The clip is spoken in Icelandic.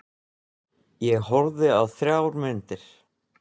Ég horfði á þrjár myndir.